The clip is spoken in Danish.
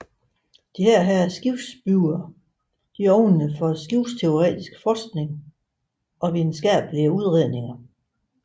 Disse skibsbyggere åbnede for skibsteoretiske forskning og videnskabelige udredninger